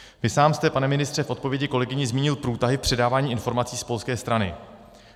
Vy sám jste, pane ministře, v odpovědi kolegyni zmínil průtahy v předávání informací z polské strany.